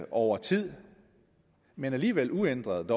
over tid men alligevel uændret